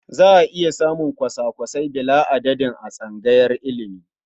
Za a iya samun kwasa-kwasai bila'adadin a tsangayar ilimi.